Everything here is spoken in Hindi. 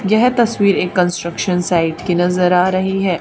यह तस्वीर एक कंस्ट्रक्शन साइट की नजर आ रही है।